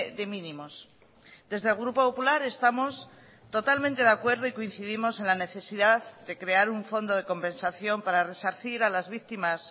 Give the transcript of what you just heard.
de mínimos desde el grupo popular estamos totalmente de acuerdo y coincidimos en la necesidad de crear un fondo de compensación para resarcir a las víctimas